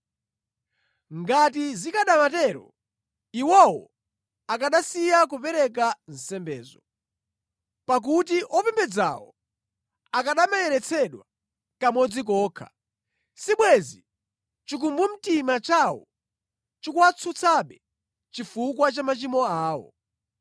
Ngati zikanamatero iwowo akanasiya kupereka nsembezo. Pakuti opembedzawo akanamayeretsedwa kamodzi kokha, sibwenzi chikumbumtima chawo chikuwatsutsabe chifukwa cha machimo awo.